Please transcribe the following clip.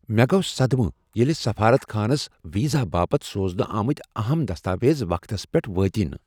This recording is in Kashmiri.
مےٚ گوٚو صدمہٕ ییٚلہ سفارت خانس ویزا باپتھ سوزنہٕ آمٕتہِ اہم دستاویز وقتس پیٹھ وٲتۍ نہٕ۔